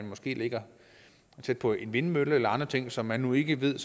måske ligger tæt på en vindmølle eller andre ting som man nu ikke ved